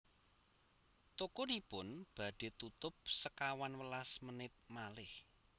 Tokonipun badhe tutup sekawan welas menit malih